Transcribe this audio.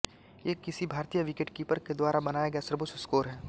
ये किसी भारतीय विकेटकीपर के द्वारा बनाया गया सर्वोच्च स्कोर है